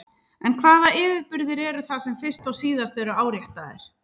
En hvaða yfirburðir eru það sem fyrst og síðast eru áréttaðir?